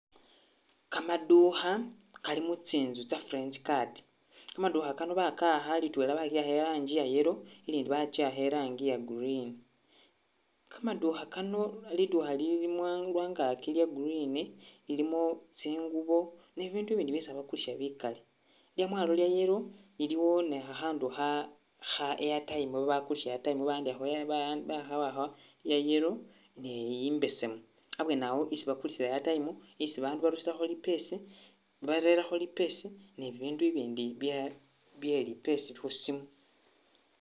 Kamadukha kali mu tsi'nzu tsa french card, kamadukha kano baka'akha litwela bali'akha irangi ya yellow ilindi bachi'akha irangi ya green, kamadukha kano, lidukha lilimwa lwangaki lya green lilimo tsingubo ne bibindu i'bindi byesi khabakulisa bikali, lyamwalo lya yellow, iliwo ni khakhandu kha kha airtime, babakulisha airtime bawandikhakho ba ba bakhawakha bya yellow ne i'besemu, abwenawo isi bakulisa airtime, isi bandu barusilakho lipesi, barelakho lipesi ni bibindu i'bindi byaa byelipesa khusimu